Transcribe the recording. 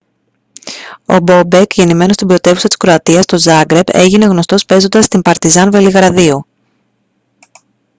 ο μπόμπεκ γεννημένος στην πρωτεύουσα της κροατίας το ζάγκρεπ έγινε γνωστός παίζοντας στην παρτιζάν βελιγραδίου